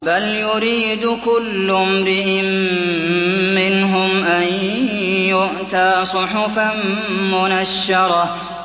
بَلْ يُرِيدُ كُلُّ امْرِئٍ مِّنْهُمْ أَن يُؤْتَىٰ صُحُفًا مُّنَشَّرَةً